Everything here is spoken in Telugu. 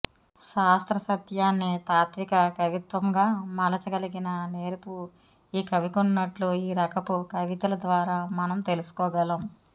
శాస్త్ర సత్యాన్ని తాత్త్విక కవిత్వంగా మలచ గలిగిన నేర్పు ఈ కవికున్నట్లు ఈ రకపు కవితల ద్వారా మనం తెలుసుకోగలం